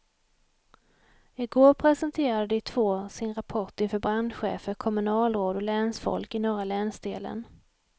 I går presenterade de två sin rapport inför brandchefer, kommunalråd och länsfolk i norra länsdelen.